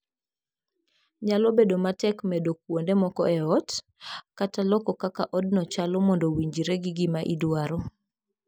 Nyalo bedo matek medo kuonde moko e ot, kata loko kaka odno chalo mondo owinjre gi gima idwaro.